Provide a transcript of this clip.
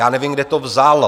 Já nevím, kde to vzal.